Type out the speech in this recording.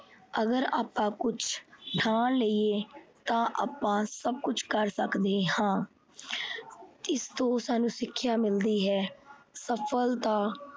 ਅਗਰ ਆਪਾ ਕੁਛ ਠਾਣ ਲਈਏ ਤਾਂ ਆਪਾ ਸਭ ਕੁਛ ਕਰ ਸਕਦੇ ਹਾਂ। ਇਸ ਤੋਂ ਸਾਨੂੰ ਸਿੱਖਿਆ ਮਿਲਦੀ ਹੈ ਸਫਲਤਾ